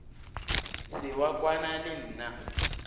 se wa kwana le nna